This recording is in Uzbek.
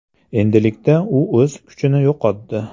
Endilikda u o‘z kuchini yo‘qotdi.